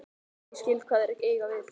Ég skil hvað þeir eiga við.